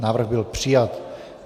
Návrh byl přijat.